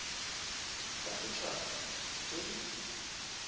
tsa set haba tse di